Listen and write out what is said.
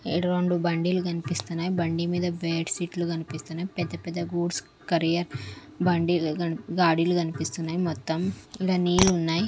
ఈడ రెండు బండిలు కనిపిస్తున్నాయ్ బండి మీద సీట్లు కనిపిస్తున్నాయ్ పెద్ద పెద్ద గూడ్స్ కరియర్ బండిల్ కన్ గాడీలు కనిపిస్తున్నాయ్ మొత్తం ఈడ నీళ్ళున్నాయ్.